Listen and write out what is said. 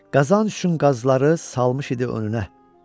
Qazanc üçün qazları salmış idi önünə.